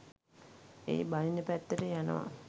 ඒ බනින පැත්තට යනවා